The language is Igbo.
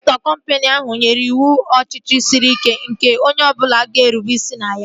Dairektọ kọmpini ahụ nyere iwu ọchịchị sịrị ike onye ọbụla ga-erube isi na ya